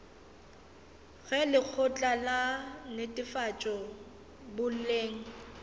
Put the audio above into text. ge lekgotla la netefatšo boleng